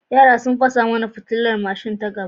Yara sun fasa mana fitilar mashin ta gaba.